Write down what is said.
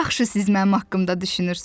Nə yaxşı siz mənim haqqımda düşünürsünüz.